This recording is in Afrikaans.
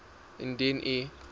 indien u